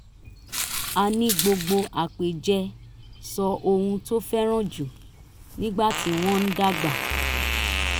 a ní gbogbo àpèjẹ sọ ohun tó fẹ́ràn jù nígbà tí wọ́n ń dàgbà